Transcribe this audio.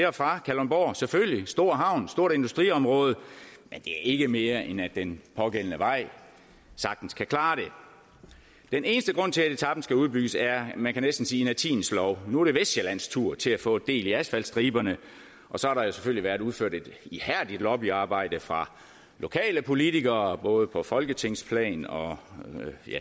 og fra kalundborg selvfølgelig en stor havn et stort industriområde men det er ikke mere end at den pågældende vej sagtens kan klare det den eneste grund til at etapen skal udbygges er man kan næsten sige inertiens lov nu er det vestsjællands tur til at få del i asfaltstriberne og så har der jo selvfølgelig været udført et ihærdigt lobbyarbejde fra lokale politikere både på folketingsplan og